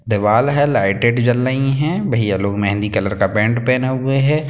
दीवाल है लाइटे जल रही है भईया लोग मेहँदी कलर का पेंट पहने हुए है।